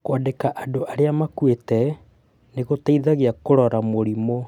Kũandĩka andũ arĩa makuĩte nĩ gũteithagia kũrora mũrimũ.